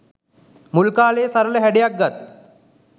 මුල්කාලයේ සරල හැඩයක් ගත්